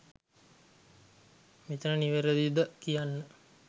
මෙතන නිවැරදි ද කියන්න